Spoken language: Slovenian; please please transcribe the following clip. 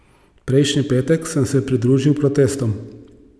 Prejšnji petek sem se pridružil protestom.